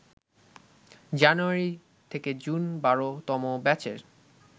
জানুয়ারি-জুন ১২তম ব্যাচের